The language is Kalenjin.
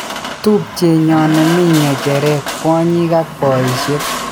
"Tupchenyon nemi ng'echeret, kwonyik ak poishek.